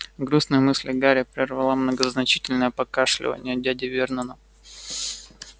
грустные мысли гарри прервало многозначительное покашливание дяди вернона